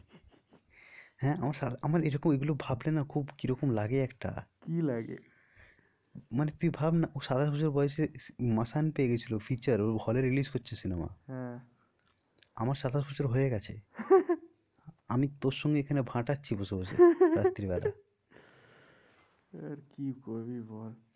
আমি তোর সঙ্গে এখানে ভাটাচ্ছি বসে বসে রাত্রি বেলা আর কি করবি বল।